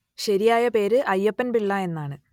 ശരിയായ പേര് അയ്യപ്പൻ പിള്ള എന്നാണ്